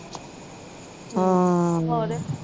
ਆਹ